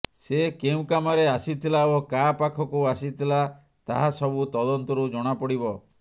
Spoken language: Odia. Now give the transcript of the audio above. ସେ କେଉଁ କାମରେ ଆସିଥିଲା ଓ କାହା ପାଖକୁ ଆସିଥିଲା ତାହା ସବୁ ତଦନ୍ତରୁ ଜଣାପଡ଼ିବ